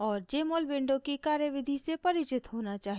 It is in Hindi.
और jmol window की कार्यविधि से परिचित होना चाहिए